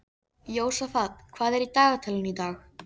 Jósafat, hvað er á dagatalinu í dag?